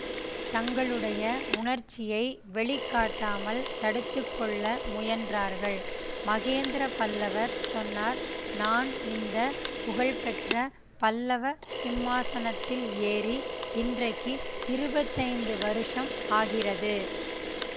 தங்களுடைய உணர்ச்சியை வெளிக்காட்டாமல் தடுத்து கொள்ள முயன்றார்கள் மகேந்திர பல்லவர் சொன்னார் நான் இந்த புகழ்பெற்ற பல்லவ சிம்மாசனத்தில் ஏறி இன்றைக்கு இருபத்தைந்து வருஷம் ஆகிறது